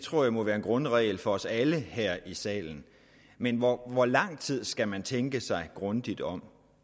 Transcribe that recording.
tror jeg må være en grundregel for os alle her i salen men hvor hvor lang tid skal man tænke sig grundigt om